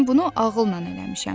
Mən bunu ağılla eləmişəm.